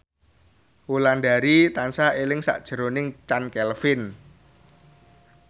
Wulandari tansah eling sakjroning Chand Kelvin